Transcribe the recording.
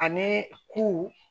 Ani ko